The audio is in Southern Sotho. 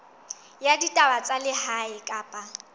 ya ditaba tsa lehae kapa